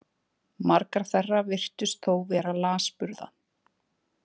Margar þeirra virtust þó vera lasburða.